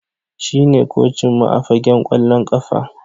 Shine kocinmu a fagen kwallon kafa